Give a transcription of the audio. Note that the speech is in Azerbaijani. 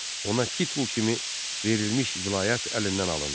Ona titul kimi verilmiş vilayət əlindən alındı.